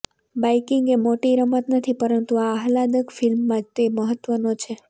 biking એ મોટી રમત નથી પરંતુ આ આહલાદક ફિલ્મમાં તે મહત્વનો છે